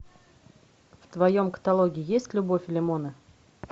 в твоем каталоге есть любовь и лимоны